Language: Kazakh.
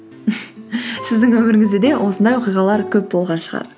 сіздің өміріңізде де осындай оқиғалар көп болған шығар